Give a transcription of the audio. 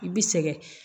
I bi sɛgɛn